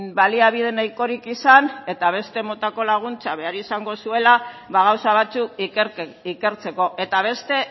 baliabide nahikorik izan eta beste motako laguntza behar izango zuela gauza batzuk ikertzeko eta beste